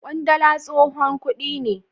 kwandala tsohon kudi ne.